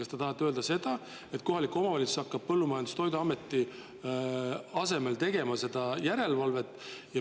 Kas te tahate öelda seda, et kohalik omavalitsus hakkab Põllumajandus‑ ja Toiduameti asemel tegema ka seda järelevalvet?